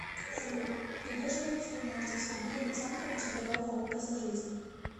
салют придерживается ли мальцев сергей александрович здорового образа жизни